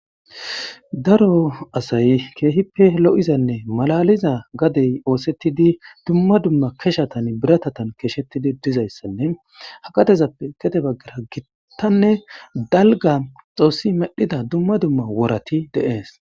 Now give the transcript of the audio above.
Daro asay keehippe lo7izanne malaliza gadey oosettidi dumma dumma keshatan biratatan keeshettidi dizayssanne hakatezappe ketebaggera gitanne dalga xoossi medhida dumma dumma worati deees.